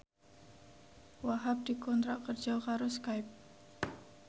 Wahhab dikontrak kerja karo Skype